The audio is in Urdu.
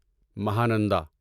مہانندا